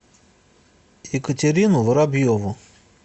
екатерину воробьеву